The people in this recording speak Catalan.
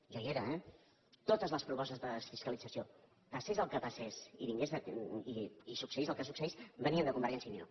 jo hi era eh totes les propostes de desfiscalització passés el que passés i succeís el que succeís venien de convergència i unió